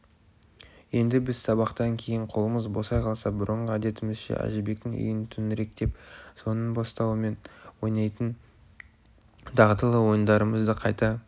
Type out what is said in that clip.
енді біз сабақтан кейін қолымыз босай қалса бұрынғы әдетімізше әжібектің үйін төңіректеп соның бастауымен ойнайтын дағдылы ойындарымызды қайта